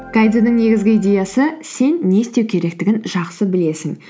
негізгі идеясы сен не істеу керектігін жақсы білесің